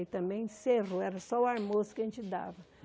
Aí também encerrou, era só o almoço que a gente dava.